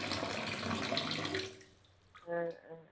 ആ, അ